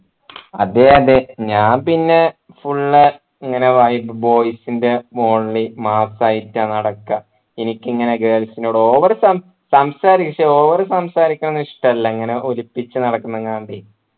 അതെ അതെ ഞാൻ പിന്നെ full ഇങ്ങനെ boys ൻ്റെ only mass ആയിട്ടാ നടക്കുക എനിക്കിങ്ങനെ girls നോട് over സം സംസാരിക്കും ക്ഷേ over സംസാരിക്കുന്നതൊന്നും ഇഷ്ടല്ല ഇങ്ങനെ ഒലിപ്പിച്ച് നടക്കുന്നെങ്ങാണ്ട്